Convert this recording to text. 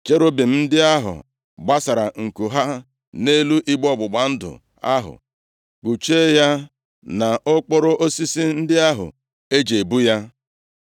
Cherubim ndị ahụ gbasara nku ha nʼelu igbe ọgbụgba ndụ ahụ, kpuchie ya na okporo osisi ndị ahụ e ji ebu ya.